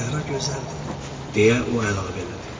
Səhra gözəldir, deyə o əlavə elədi.